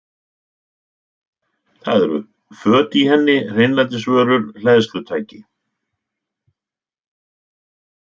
Það eru föt í henni, hreinlætisvörur, hleðslutæki.